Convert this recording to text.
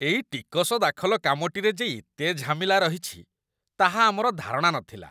ଏଇ ଟିକସ ଦାଖଲ କାମଟିରେ ଯେ ଏତେ ଝାମେଲା ରହିଛି, ତାହା ଆମର ଧାରଣା ନଥିଲା!